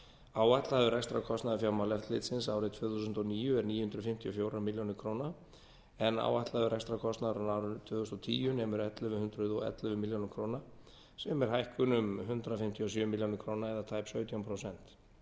áætlaður rekstrarkostnaður fjármálaeftirlitsins árið tvö þúsund og níu er níu hundruð fimmtíu og fjórar milljónir króna en áætlaður rekstrarkostnaður á árinu tvö þúsund og tíu nemur ellefu hundruð og ellefu milljónir króna sem er hækkun um hundrað fimmtíu og sjö milljónir króna eða tæp sautján prósent